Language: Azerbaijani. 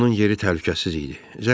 İndi onun yeri təhlükəsiz idi.